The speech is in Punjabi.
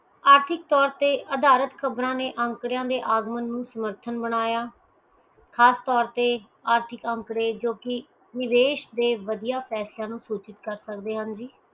ਆਰਥਿਕ ਤੋਰ ਤੇ ਅਧਾਰਤ ਖ਼ਬਰਾਂ ਨੇ ਅੰਕਰਯਾ ਦੇ ਆਗੂਆਂ ਨੂੰ ਸਮਰਥਨ ਬਣਾਇਆ ਖਾਸ ਤੋਰ ਤੇ ਆਰਥਿਕ ਅੰਕੜੇ ਜੋ ਕੀ ਵਿਦੇਸ਼ ਦੇ ਵਦੀਆਂ ਪੈਸਿਆਂ ਨੂੰ ਸੂਚਿਤ ਕਰ ਸਕਦੇ ਨੇ ਜੀ